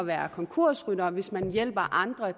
være konkursryttere og hvis man hjælper andre